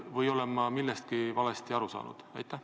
Või olen ma millestki valesti aru saanud?